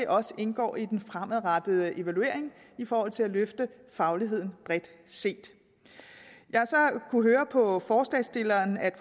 også indgå i den fremadrettede evaluering i forhold til at løfte fagligheden bredt set jeg har så kunnet høre på forslagsstillerne at